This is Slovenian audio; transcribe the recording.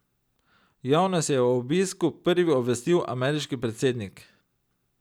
Javnost je o obisku prvi obvestil ameriški predsednik.